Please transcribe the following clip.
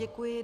Děkuji.